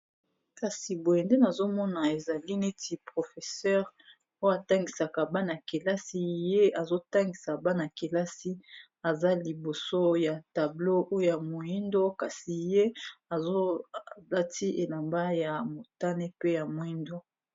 kasi boye nde nazomona ezali neti professeur po atangisaka bana-kelasi ye azotangisa bana-kelasi aza liboso ya tablo oya moindo kasi ye azolati elamba ya motane pe ya moindo